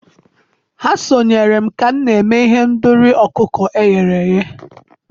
ha sonyeere m ka m na-eme ihendori ọkụkọ e ghere eghe.